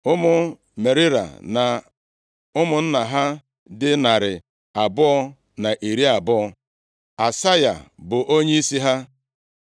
Ụmụ Merari na ụmụnna ha dị narị abụọ na iri abụọ. (220) Asaya bụ onyeisi ha.